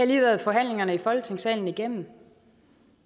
lige været forhandlingerne i folketingssalen igennem